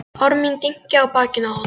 Orð mín dynja á bakinu á honum.